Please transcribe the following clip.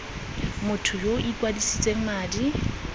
motho yo o ikwadisitseng madi